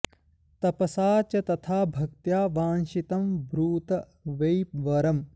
तपसा च तथा भक्त्या वाञ्छितं ब्रूत वै वरम्